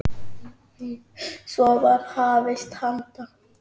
Svo var hafist handa.